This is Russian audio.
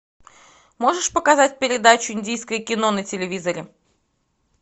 можешь показать передачу индийское кино на телевизоре